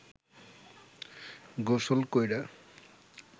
গোসল কইরা